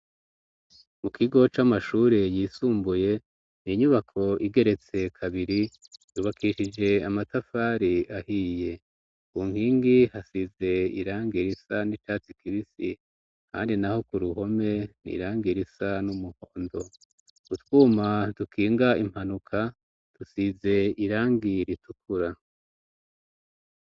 Mu kigo c'amashure yisumbuye ni'inyubako igeretse kabiri yubakishije amatafari ahiye unkingi hasize irange irisa n'icatsi kibisi, kandi, naho ku ruhome ni irange irisa n'umuhondo gutwuma dukinga impanuka dusize irangira itukura.